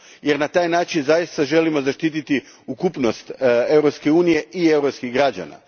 Jer na taj način zaista želimo zaštititi ukupnost Europske unije i europskih građana.